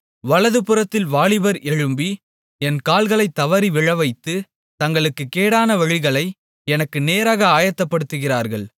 வலதுபுறத்தில் வாலிபர் எழும்பி என் கால்களைத் தவறி விழவைத்து தங்கள் கேடான வழிகளை எனக்கு நேராக ஆயத்தப்படுத்துகிறார்கள்